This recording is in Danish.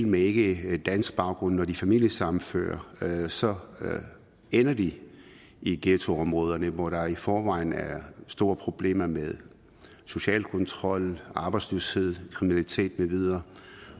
med ikkedansk baggrund familiesammenfører så ender de i ghettoområderne hvor der i forvejen er store problemer med social kontrol arbejdsløshed kriminalitet med videre